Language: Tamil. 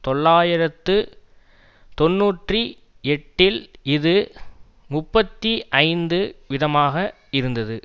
தொள்ளாயிரத்து தொன்னூற்றி எட்டில் இது முப்பத்தி ஐந்து விதமாக இருந்தது